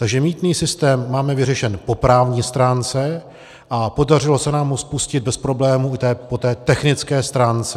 Takže mýtný systém máme vyřešen po právní stránce a podařilo se nám ho spustit bez problémů i po té technické stránce.